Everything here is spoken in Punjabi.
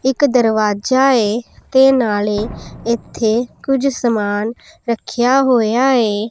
ਇੱਕ ਦਰਵਾਜ਼ਾ ਏ ਤੇ ਨਾਲੇ ਇੱਥੇ ਕੁਝ ਸਮਾਨ ਰੱਖਿਆ ਹੋਇਆ ਏ।